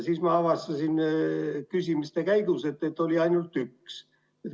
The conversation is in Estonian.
Siis ma avastasin küsimiste käigus, et neid on ainult üks.